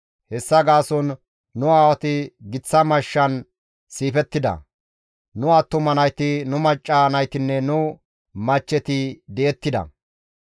Hessa gaason nu aawati giththa mashshan siifettida; nu attuma nayti, nu macca naytinne nu machcheti di7ettida.